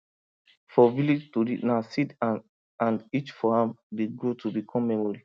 for village tori na seed and and each for am dey grow to become memory